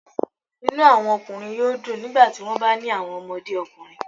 Inu awọn ọkunrin yoo dun nigbati wọn ba ni awọn ọmọde ọkunrin